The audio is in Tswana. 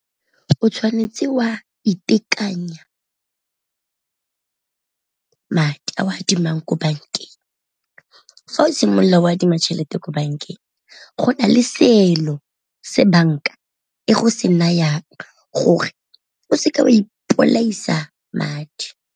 O tshwanetse o a itekanya madi a o a adimileng ko bankeng, fa o simolola o adima tšhelete ko bankeng go na le seelo se banka e go se nayang gore o seke o a ipolaisa madi.